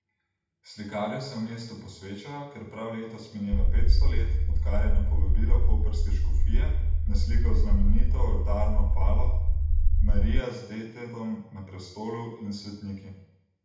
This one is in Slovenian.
Slikarju se v mestu posvečajo, ker prav letos mineva petsto let, odkar je na povabilo koprske škofije naslikal znamenito oltarno palo Marija z detetom na prestolu in svetniki.